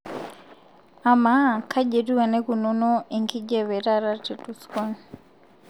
amaa kaji etiu eneikununo enkijiape taata te tucson